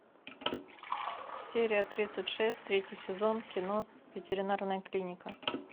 серия тридцать шесть третий сезон кино ветеринарная клиника